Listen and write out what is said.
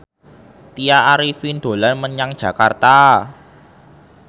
Tya Arifin dolan menyang Jakarta